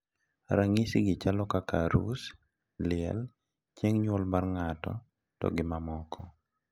Nyasigi chalo kaka arus, liel, chieng` nyuol ng`ato to gi mamoko